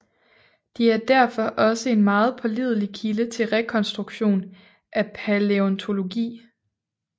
De er derfor også en meget pålidelig kilde til rekonstruktion af palæontologi